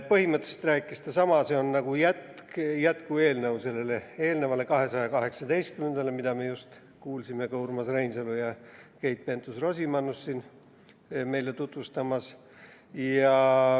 Põhimõtteliselt on see nagu jätkueelnõu eelnevale, 218 SE-le, mida me siin just kuulsime Urmas Reinsalu ja Keit Pentus‑Rosimannust meile tutvustamas.